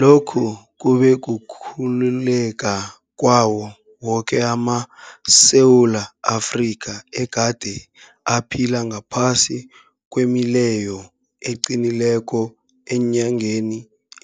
Lokhu kube kukhululeka kwawo woke amaSewula Afrika egade aphila ngaphasi kwemileyo eqinileko eenyangeni